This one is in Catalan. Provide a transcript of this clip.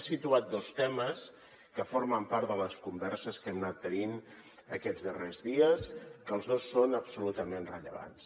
ha situat dos temes que formen part de les converses que hem anat tenint aquests darrers dies que els dos són absolutament rellevants